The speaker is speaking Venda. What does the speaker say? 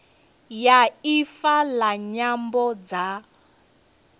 ya ifa la nyambo dza